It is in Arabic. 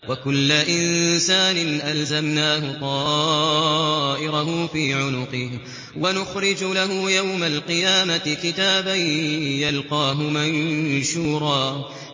وَكُلَّ إِنسَانٍ أَلْزَمْنَاهُ طَائِرَهُ فِي عُنُقِهِ ۖ وَنُخْرِجُ لَهُ يَوْمَ الْقِيَامَةِ كِتَابًا يَلْقَاهُ مَنشُورًا